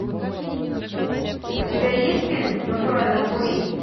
у тебя есть фильм натуральные упыри